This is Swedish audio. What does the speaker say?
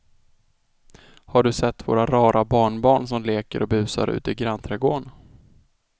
Har du sett våra rara barnbarn som leker och busar ute i grannträdgården!